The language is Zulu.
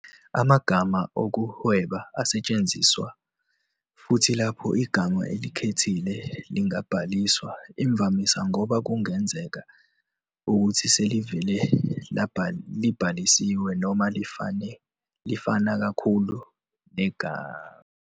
Amagama okuhweba asetshenziswa futhi lapho igama elikhethile lingabhaliswa, imvamisa ngoba kungenzeka ukuthi selivele libhalisiwe noma lifana kakhulu negama elibhalisiwe.